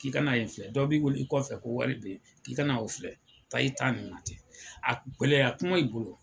K'i kana yen filɛ dɔ b'i wele i kɔfɛ ko wari bɛ ye k'i kana o filɛ taa i ta in na ten a gɛlɛya kuma i bolo